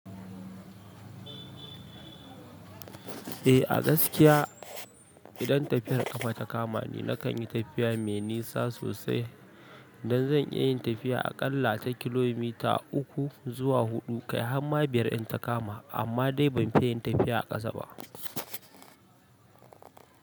Eh a gaskiya idan tafiyar ƙafa ta kamani nakan yi tafiya mai nisa sosai don zan iya yin tafiya a ƙalla ta kilomita uku zuwa huɗu kai harma biyar in ta kama amma dai ban fi yin tafiya a ƙasa ba.